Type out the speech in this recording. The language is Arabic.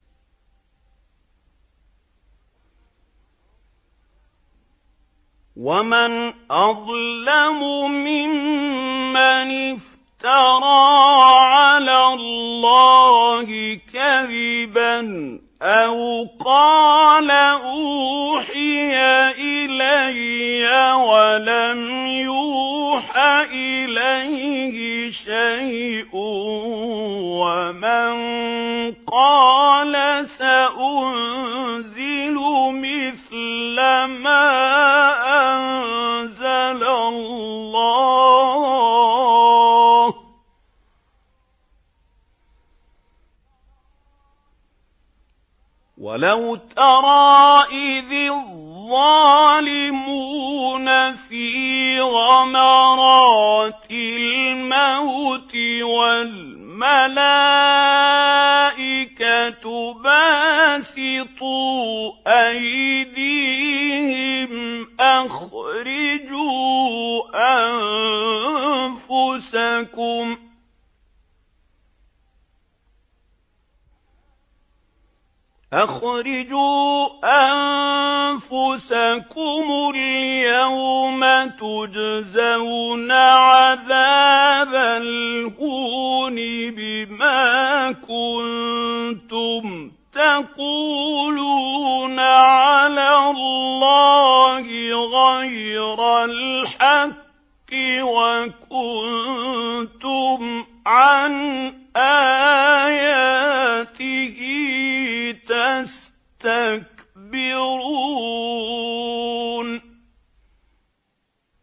وَمَنْ أَظْلَمُ مِمَّنِ افْتَرَىٰ عَلَى اللَّهِ كَذِبًا أَوْ قَالَ أُوحِيَ إِلَيَّ وَلَمْ يُوحَ إِلَيْهِ شَيْءٌ وَمَن قَالَ سَأُنزِلُ مِثْلَ مَا أَنزَلَ اللَّهُ ۗ وَلَوْ تَرَىٰ إِذِ الظَّالِمُونَ فِي غَمَرَاتِ الْمَوْتِ وَالْمَلَائِكَةُ بَاسِطُو أَيْدِيهِمْ أَخْرِجُوا أَنفُسَكُمُ ۖ الْيَوْمَ تُجْزَوْنَ عَذَابَ الْهُونِ بِمَا كُنتُمْ تَقُولُونَ عَلَى اللَّهِ غَيْرَ الْحَقِّ وَكُنتُمْ عَنْ آيَاتِهِ تَسْتَكْبِرُونَ